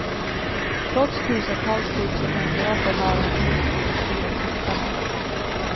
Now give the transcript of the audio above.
Trots tusentals tips och mängder av förhör har polisen inte lyckats gripa mördaren.